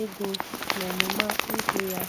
ego n'ọmụma ihe ya.